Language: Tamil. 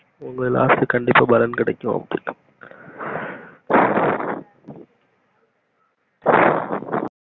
உங்க last கண்டிப்பா பலன் கிடைக்கும்